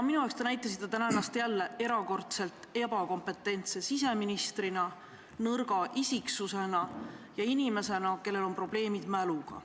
Minu arvates näitasite te ennast jälle erakordselt ebakompetentse siseministrina, nõrga isiksusena ja inimesena, kellel on probleeme mäluga.